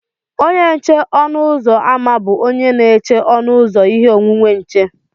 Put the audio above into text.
Onye nche ọnụ ụzọ ámá bụ onye na-eche ọnụ ụzọ ihe onwunwe nche